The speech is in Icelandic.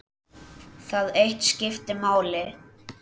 Það eitt skipti máli.